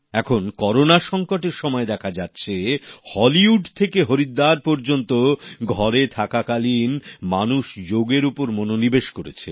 এখন করোনা সংকটের সময় দেখা যাচ্ছে হলিউড থেকে হরিদ্বার পর্যন্ত ঘরে থাকাকালীন মানুষ যোগ এর উপর মনোনিবেশ করেছে